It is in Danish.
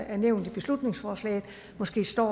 er nævnt i beslutningsforslaget måske står